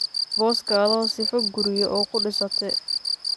Boss kadho sifaa kuriyaa ookudisatidh.